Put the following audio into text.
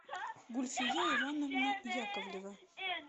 гульфия ивановна яковлева